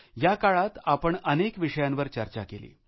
या काळात आपण अनेक विषयांवर चर्चा केली